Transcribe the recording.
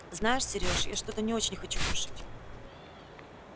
знаешь сереж я что-то не очень хочу кушать